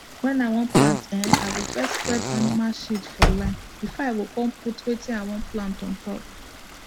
when i wan plant um i go spread animal shit for line before i go cum put wetin i wan plant on top